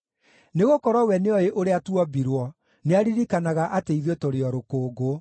nĩgũkorwo we nĩoĩ ũrĩa tuombirwo, nĩaririkanaga atĩ ithuĩ tũrĩ o rũkũngũ.